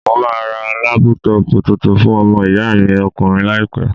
Mo máa ra lápútọpù tuntun fún ọmọ ìyá mi ọkùnrin láìpẹ́.